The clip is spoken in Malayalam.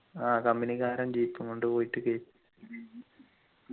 ആഹ് company ക്കാരൻ jeep കൊണ്ട് പോയിട്ട് കേറ്റി